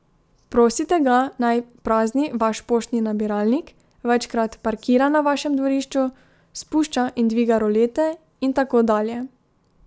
Prosite ga, naj prazni vaš poštni nabiralnik, večkrat parkira na vašem dvorišču, spušča in dviga rolete in tako dalje.